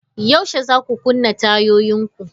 Yaushe zaku kunna tayoyin ku?